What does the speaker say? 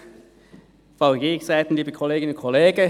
Kommissionssprecher der FiKo-Minderheit.